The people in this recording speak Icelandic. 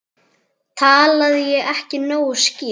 Talaði ég ekki nógu skýrt?